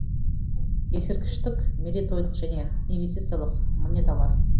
ескерткіштік мерейтойлық және инвестициялық монеталар